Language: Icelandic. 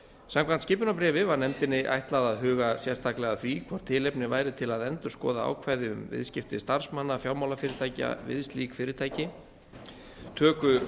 samkvæmt skipunarbréfi var nefndinni ætlað að huga sérstaklega að því hvort tilefni væru til að endurskoða ákvæði um viðskipti starfsmanna fjármálafyrirtækja við slík fyrirtæki töku